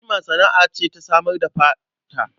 Jima sana'a ce ta samar da fata.